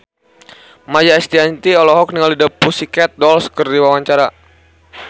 Maia Estianty olohok ningali The Pussycat Dolls keur diwawancara